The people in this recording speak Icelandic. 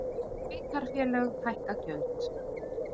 Sveitarfélög hækka gjöld